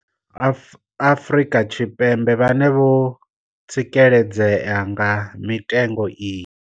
Afrika Tshipembe vhane vho tsikeledzea nga mitengo iyi.